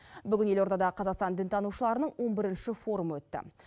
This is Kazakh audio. бүгін елордада қазақстан дінтанушыларының он бірінші форумы өтті